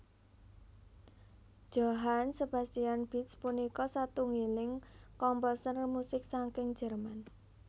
Johann Sebastian Bach punika satunggiling komposer musik saking Jerman